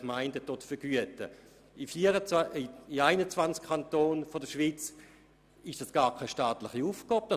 In 21 Kantonen der Schweiz ist das gar keine öffentliche Aufgabe: